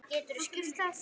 Geturðu skýrt það?